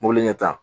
Mobili ɲɛ